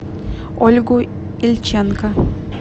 ольгу ильченко